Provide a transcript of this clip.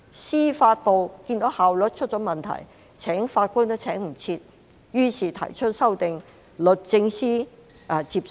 司法機構看到效率出現問題，來不及聘請法官，於是提出修訂，律政司接受。